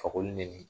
Fakoli nege